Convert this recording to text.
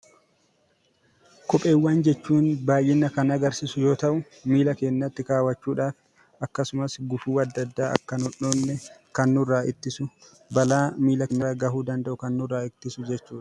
Kopheewwan jechuun baayyina kan agarsiisu yoo ta'u; miilla keenyaatti kaawwachuudhaaf, gufuuwwan akka nu hin dhoofneef kan nurraa ittisuu fi balaa miilla irraa ga'uu danda'u kan eeguudha.